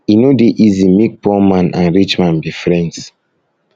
e no dey easy make poor man and rich man be friends